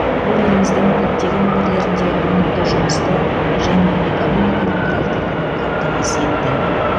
ол еліміздің көптеген өңірлерінде өнімді жұмысты және экономиканың тұрақтылығын қамтамасыз етті